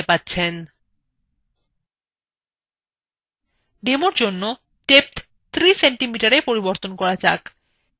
demo জন্য depth ৩cmএ পরিবর্তন করা যাক